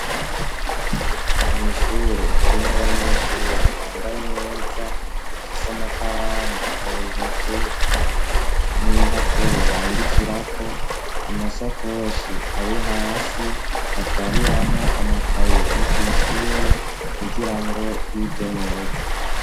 Mw'ishure harimwo abanyeshure bambaye neza, bafise amakaramu mu ntoke n'impapuro bandikirako, amasakoshi ari hasi batwariramwo amakaye yo kw'ishure kugirango bige neza.